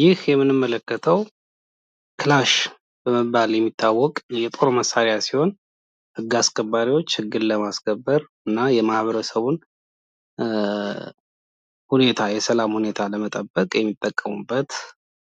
ይህ የምንመለከተው ክላሽ በመባል የሚታወቅ የጦር መሳሪያ ሲሆን ህግ አስከባሪዎች ህግን ለማስከበር እና የማህበረሰብን የሰላም ሁኔታ ለመጠበቅ የሚጠቀሙበት